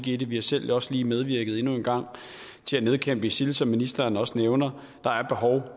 i det vi har selv også lige medvirket endnu en gang til at nedkæmpe isil som ministeren også nævner der er behov